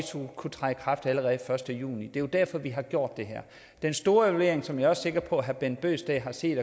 kunne træde i kraft allerede første juni det er jo derfor vi har gjort det her den store evaluering som jeg også er sikker på at herre bent bøgsted har set